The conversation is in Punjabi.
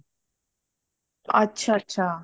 ਅੱਛਾ ਅੱਛਾ